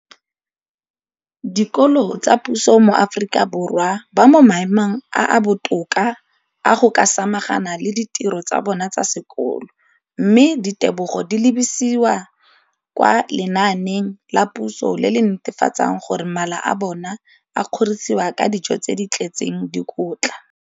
Dikolo tsa puso mo Aforika Borwa ba mo maemong a a botoka a go ka samagana le ditiro tsa bona tsa sekolo, mme ditebogo di lebisiwa kwa lenaaneng la puso le le netefatsang gore mala a bona a kgorisitswe ka dijo tse di tletseng dikotla.